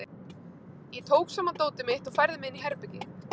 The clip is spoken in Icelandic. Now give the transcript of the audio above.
Ég tók saman dótið mitt og færði mig inn í herbergi.